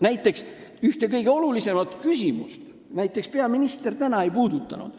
Näiteks ühte kõige olulisemat küsimust peaminister täna ei puudutanud.